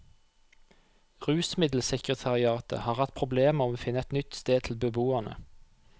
Rusmiddelsekretariatet har hatt problemer med å finne et nytt sted til beboerne.